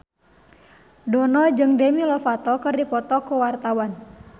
Dono jeung Demi Lovato keur dipoto ku wartawan